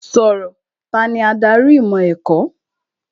Sọ̀rọ̀! Tani adarí ìmọ̀ ẹ̀kọ́?